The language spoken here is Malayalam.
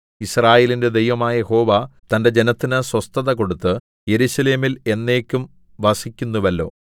യിസ്രായേലിന്റെ ദൈവമായ യഹോവ തന്റെ ജനത്തിന് സ്വസ്ഥത കൊടുത്ത് യെരൂശലേമിൽ എന്നേക്കും വസിക്കുന്നുവല്ലോ